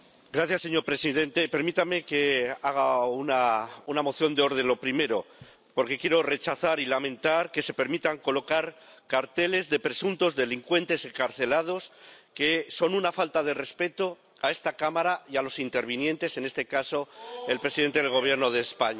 Señor presidente, permítame que haga una moción de orden, lo primero, porque quiero rechazar y lamentar que se permita colocar carteles de presuntos delincuentes excarcelados, que son una falta de respeto a esta Cámara y a los intervinientes, en este caso, el presidente del Gobierno de España.